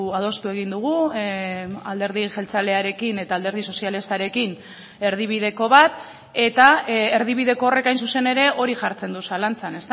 adostu egin dugu alderdi jeltzalearekin eta alderdi sozialistarekin erdibideko bat eta erdibideko horrek hain zuzen ere hori jartzen du zalantzan